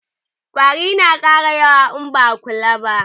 Ƙwari na ƙara yawa in ba'a kula ba